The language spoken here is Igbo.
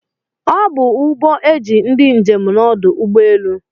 Ọbu uhbọ eji ndi njem n'ọdụ ụgbọ elu.